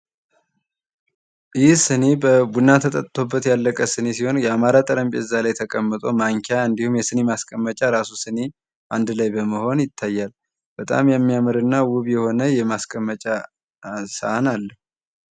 ይህ ሲኒ ቡና ተጠጥቶበት ያለቀ ሲኒ ሲሆን የአማረ ጠርምቤዛ ላይ ተቀምጦ ማንኪያ እንዲሁም ማስቀመጫ ራሱ ሲኒ አንድ ላይ በመሆን ይታያል። በጣም የሚያምር እና ውብ የሆነ ማስቀመጫ ሳሃን አለ